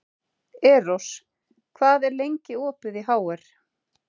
Eros, hvað er lengi opið í HR?